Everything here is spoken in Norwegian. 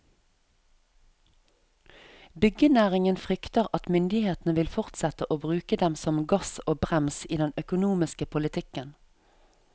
Byggenæringen frykter at myndighetene vil fortsette å bruke dem som gass og brems i den økonomiske politikken.